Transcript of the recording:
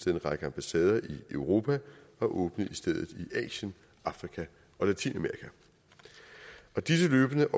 en række ambassader i europa og åbnede i stedet i asien afrika og latinamerika disse løbende